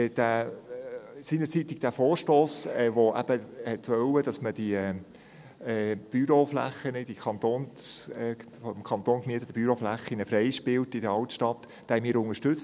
Den Vorstoss, der seinerzeit wollte, dass man die vom Kanton in der Altstadt gemieteten Büroflächen freispielt, haben wir unterstützt.